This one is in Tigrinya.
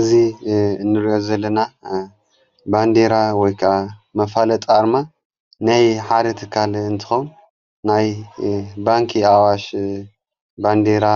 እዙ እንርዮ ዘለና ባንዴራ ወይቃ መፋለጠኣርማ ነይ ሓደ እትካል እንትኾም ናይ ባንኪ ኣዋሽ ባንዴራ